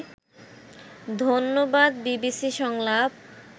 ধন্যবাদ বিবিসি সংলাপ